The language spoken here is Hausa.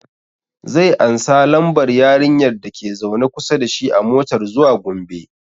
Zai ansa lambar yarinyar da ke zaune kusa dashi a motar zuwa Gombe